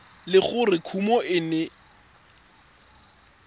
le gore kumo e ne